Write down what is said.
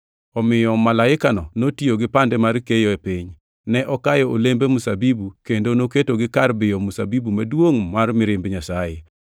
Omiyo malaikano notiyo gi pande mar keyo e piny, ne okayo olembe mzabibu kendo noketogi kar biyo mzabibu maduongʼ mar mirimb Nyasaye.